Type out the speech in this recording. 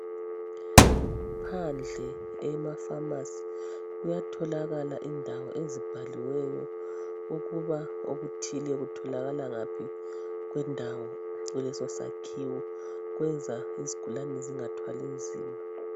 Phandle emafamasi kuyatholakala indawo ezibhaliweyo ukuba okuthile kutholaka ngaphi kwendawo kulesosakhiwo, kwenza izigulane zingathwali nzima.